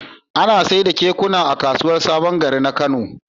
Ana saida kekuna a kasuwar sabon gari na kano